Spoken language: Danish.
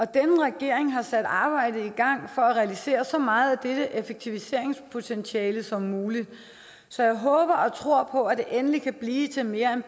denne regering har sat arbejdet i gang for at realisere så meget af dette effektiviseringspotentiale som muligt så jeg håber og tror på at det endelig kan blive til mere